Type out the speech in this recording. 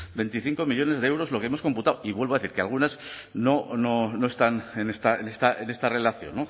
veinticinco millónes de euros lo que hemos computado y vuelvo a decir que algunas no están en esta relación